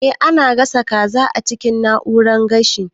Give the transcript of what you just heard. Eh ana gasa kaza a cikin na'urar gashi